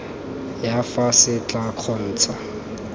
ya fa se tla kgontsha